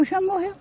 Ele já morreu.